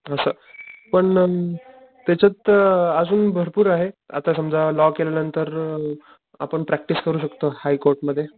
असं पण अ त्याच्यात आजून अ भरपूर आहे आता समजा लॉ केल्या नंतर अ आपण प्रॅक्टिस करू शकतो हाय कोर्ट मध्ये.